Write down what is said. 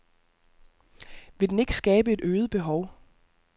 Vil den ikke skabe et øget behov?